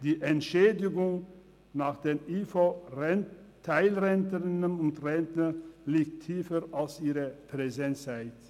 Die Entschädigung vieler IV-Teilrentnerinnen und -rentner liegt tiefer als ihre Präsenzzeit.